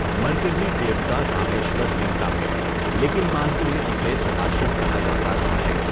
مرکزی دیوتا رامیشور لِنگا ہے، لیکن ماضی میں اسے سداشیو کہا جاتا رہا ہے۔